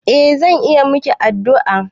Eh zan iya maki addu'a.